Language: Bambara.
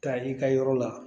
Taa i ka yɔrɔ la